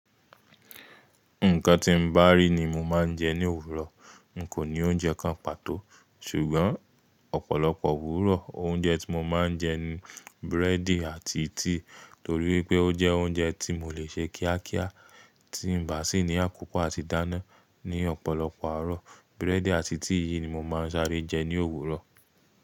Nǹkan ti mo bá rí ni mo máa ń jẹ ní òwúrọ̀. N kò ní oúnjẹ kan pàtó. Ṣùgbọ́n ọ̀pọ̀lọpọ̀ òwúrọ̀ oúnjẹ tí mo máa ń jẹ ni búrẹ́dì àti tíì. Nítorí pé ó jẹ oúnjẹ tí mo lè ṣe kíákíá, tí ń ba sí ní àkókọ̀ àti dáná ní ọ̀pọ̀lọpọ̀ àárọ̀. Búrẹ́dì àti tíì yìí ni mo máa ń sáré jẹ ní òwúrọ̀.